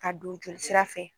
Ka don jolisira fɛ.